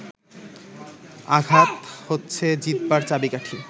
আঘাত হচ্ছে জিতবার চাবিকাঠি